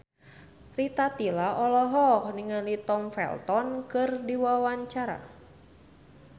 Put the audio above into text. Rita Tila olohok ningali Tom Felton keur diwawancara